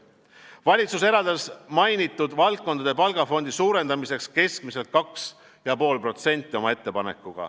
Valitsus eraldas oma ettepanekuga mainitud valdkondade palgafondi suurendamiseks keskmiselt 2,5%.